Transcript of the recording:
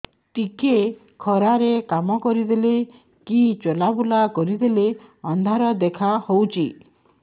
ଟିକେ ଖରା ରେ କାମ କରିଦେଲେ କି ଚଲବୁଲା କରିଦେଲେ ଅନ୍ଧାର ଦେଖା ହଉଚି